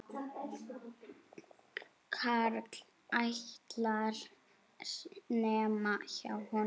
Karl ætlar, nema hjá honum.